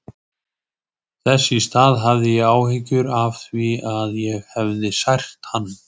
Þess í stað hafði ég áhyggjur af því að ég hefði sært hann.